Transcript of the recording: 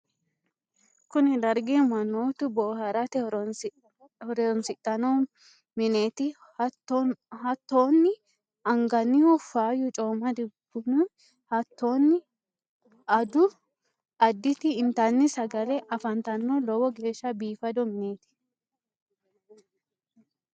kuni dargi mannotu booharate horoonsidhanno mineeti. hattonni angannihu faayyu coomadu buni hattonni addu additi intanni sagale afantanno. lowo geeshsha biifado mineti.